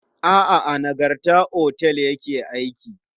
A'a, a Nagarta otel ya ke aiki.